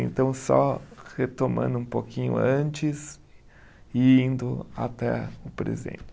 Então, só retomando um pouquinho antes e indo até o presente.